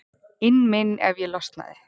inn minn ef ég losnaði.